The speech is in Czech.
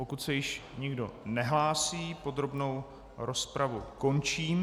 Pokud se již nikdo nehlásí, podrobnou rozpravu končím.